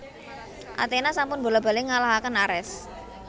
Athena sampun bola bali ngalahaken Ares